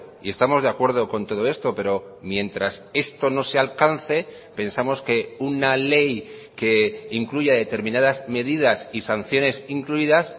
y estamos de acuerdo con todo esto pero mientras esto no se alcance pensamos que una ley que incluya determinadas medidas y sanciones incluidas